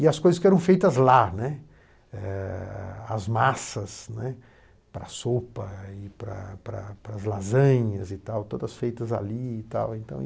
E as coisas que eram feitas lá, né, as massas, né, para a sopa e para para para as lasanhas, todas feitas ali e tal então.